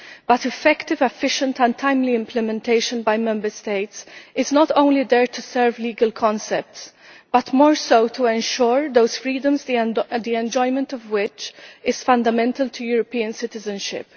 However, effective, efficient and timely implementation by Member States is not only there to serve legal concepts but more so to ensure those freedoms the enjoyment of which is fundamental to European citizenship.